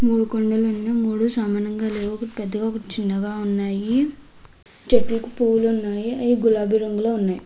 మూడు కొండలు ఉన్నాయి. మూడు సమానంగా లేవు. పెద్దగా వచ్చిండగా ఉన్నాయి. చెట్లకి పూలు ఉన్నాయి. అవి గులాబీ రంగులో ఉన్నాయి.